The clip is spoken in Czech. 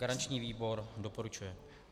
Garanční výbor doporučuje.